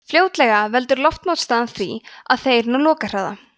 fljótlega veldur loftmótstaða því að þeir ná lokahraða